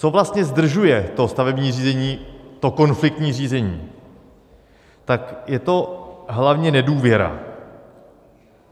Co vlastně zdržuje to stavební řízení, to konfliktní řízení, tak je to hlavně nedůvěra.